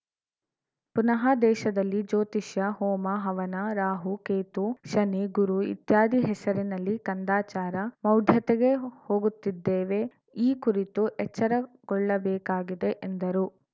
ಪುನಃ ದೇಶದಲ್ಲಿ ಜ್ಯೋತಿಷ್ಯ ಹೋಮಹವನ ರಾಹು ಕೇತು ಶನಿ ಗುರು ಇತ್ಯಾದಿ ಹೆಸರಿನಲ್ಲಿ ಕಂದಚಾರ ಮೌಢ್ಯತೆಗೆ ಹೋಗುತ್ತಿದ್ದೇವೆ ಈ ಕುರಿತು ಎಚ್ಚರಗೊಳ್ಳಬೇಕಾಗಿದೆ ಎಂದರು